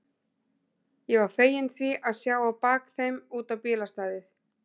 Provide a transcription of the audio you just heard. Ég var feginn því að sjá á bak þeim út á bílastæðið.